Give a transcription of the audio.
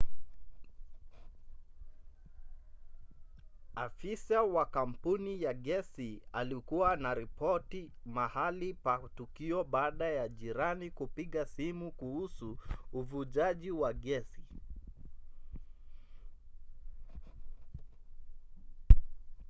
afisa wa kampuni ya gesi alikuwa anaripoti mahali pa tukio baada ya jirani kupiga simu kuhusu uvujaji wa gesi